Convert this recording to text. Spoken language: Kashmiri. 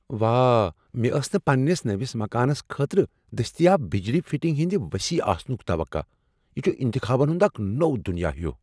واہ ، مےٚ ٲس نہٕ پنٛنس نٔوس مکانس خٲطرٕ دستیاب بجلی فِٹِنگ ہندِ وصیح آسنٗك توقع ،یہ چھ انتخابن ہٗنٛداكھ نوو دٗنیاہ ہِیوٗ